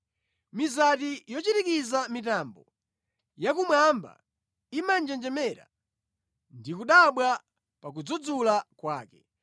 Mizati yochirikiza mitambo yakumwamba imanjenjemera, ndi kudabwa pa kudzudzula kwake.